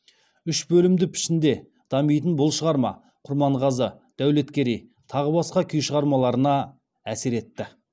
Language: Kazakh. үш бөлімді пішінде дамитын бұл шығарма құрманғазы дәулеткерей тағы басқа күй шығармаларына әсер етті